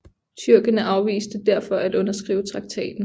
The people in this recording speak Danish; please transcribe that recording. Tyrkerne afviste derfor at underskrive traktaten